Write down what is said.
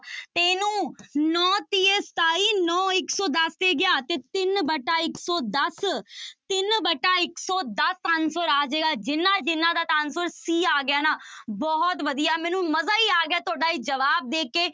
ਤੇ ਇਹਨੂੰ ਨੋਂ ਤੀਏ ਸਤਾਈ, ਨੋਂ ਇੱਕ ਸੌ ਦਸ ਤੇ ਗਿਆ ਤੇ ਤਿੰਨ ਵਟਾ ਇੱਕ ਸੌ ਦਸ ਤਿੰਨ ਵਟਾ ਇੱਕ ਸੌ ਦਸ answer ਆ ਜਾਏਗਾ, ਜਿਹਨਾਂ ਜਿਹਨਾਂ ਦਾ ਤਾਂ answer c ਆ ਗਿਆ ਨਾ, ਬਹੁਤ ਵਧੀਆ ਮੈਨੂੰ ਮਜ਼ਾ ਹੀ ਆ ਗਿਆ, ਤੁਹਾਡਾ ਇਹ ਜਵਾਬ ਦੇਖ ਕੇ।